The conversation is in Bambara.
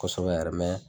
Kosɛbɛ yɛrɛ